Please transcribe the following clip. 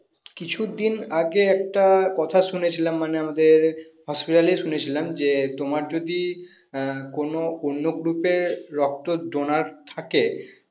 কিছুদিন আগে একটা কথা শুনে ছিলাম মানে আমাদের hospital এই শুনেছিলাম যে তোমার যদি আহ কোনো অন্য group এর রক্তর donor থাকে